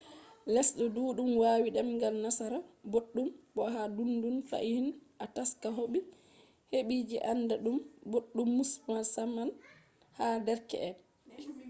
lesde duddum wawi demgal nasara boddum bo ha duddum fahin a taska hebi je anda dum boddum - musamman ha derke’en